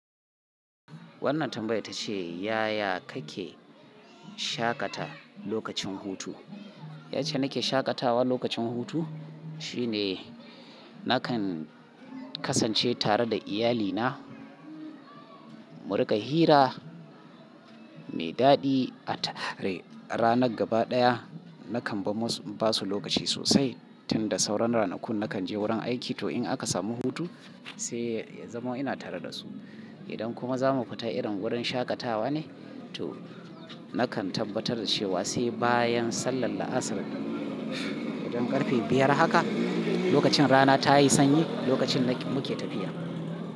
Wannan tambaya tace yaya kake shaƙata lokacin hutu? Yace nake shaƙatawa lokacin hutu shine nakan kasance tare da iyalina. Mu rika hira mai daɗi. A tare ranar gaba ɗaya nakan ba musu lokaci sosai tun da sauran ranakun nakan je wurin aiki to in aka samu hutu sai ya zama ina tare da su. Idan kuma za mu fita irin wurin shaƙatawa ne to nakan tabbatar da cewa sai bayan sallar la'asar. Idan ƙarfe biyar haka lokacin rana ta yi sanyi, lokacin muke tafiya.